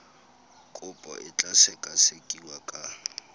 kopo e tla sekasekiwa ka